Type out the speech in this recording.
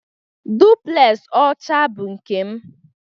Duplex ọcha bụ nke m